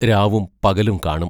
രാവും പകലും കാണും.